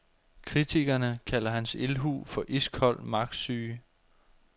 Kritikerne kalder hans ildhu for iskold magtsyge.